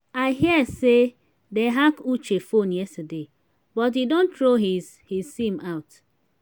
i hear say dey hack uche phone yesterday but he don throw his his sim out